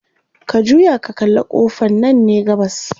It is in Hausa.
ka juya ka kalla ƙofan Nan ne gabas